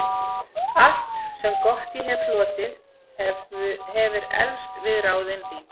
Allt, sem gott ég hefi hlotið, hefir eflst við ráðin þín.